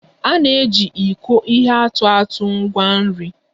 A na-eji iko ihe atụ atụ ngwa nri